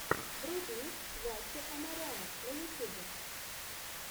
вруби ваче амаряна на ютюбе